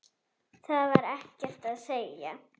Það var ekkert að segja.